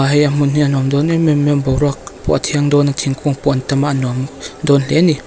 hei a hmun hi a nuam dawn em em mai a boruak pawh a thiang dawn a thingkung pawh a tam a a nuam dawn hle a ni.